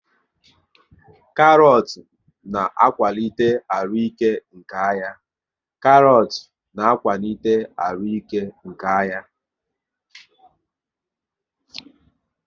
Karọt na akwalite arụike nke anya